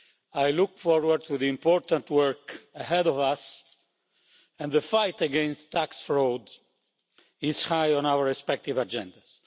I look forward to the important work ahead of us, and the fight against tax fraud is high on our respective agendas.